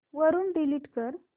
वरून डिलीट कर